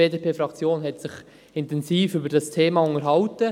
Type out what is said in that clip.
Die BDP-Fraktion hat sich intensiv über dieses Thema unterhalten.